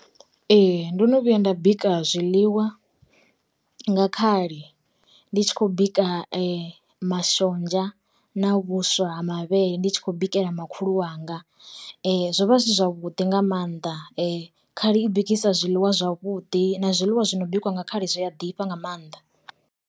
Ee ndo no vhuya nda bika zwiḽiwa, nga khali ndi tshi khou bika mashonzha na vhuswa ha mavhele ndi tshi kho bikela makhulu wanga, zwo vha zwi si zwavhuḓi nga maanḓa khali i bikisa zwiḽiwa zwavhuḓi na zwiḽiwa zwi no bikiwa nga khali zwi a ḓifha nga maanḓa.